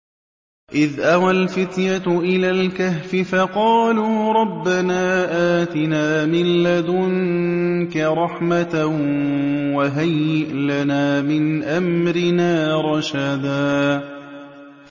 إِذْ أَوَى الْفِتْيَةُ إِلَى الْكَهْفِ فَقَالُوا رَبَّنَا آتِنَا مِن لَّدُنكَ رَحْمَةً وَهَيِّئْ لَنَا مِنْ أَمْرِنَا رَشَدًا